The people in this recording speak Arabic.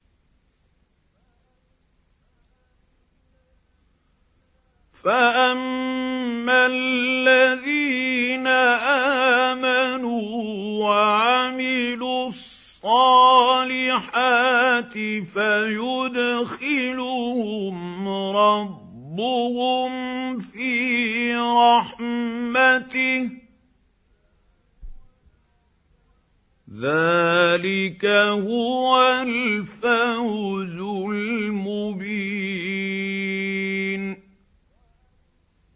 فَأَمَّا الَّذِينَ آمَنُوا وَعَمِلُوا الصَّالِحَاتِ فَيُدْخِلُهُمْ رَبُّهُمْ فِي رَحْمَتِهِ ۚ ذَٰلِكَ هُوَ الْفَوْزُ الْمُبِينُ